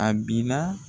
A bi na